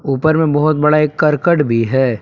ऊपर में बहुत बड़ा एक करकट भी है।